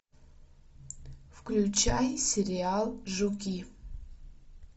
включай сериал жуки